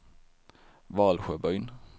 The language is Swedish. Valsjöbyn